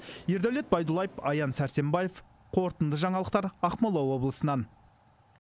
ердәулет байдуллаев аян сәрсенбаев қорытынды жаңалықтар ақмола облысынан